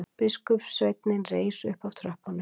Biskupssveinninn reis upp af tröppunum.